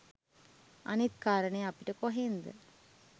අනිත් කාරනේ අපිට කොහින්ද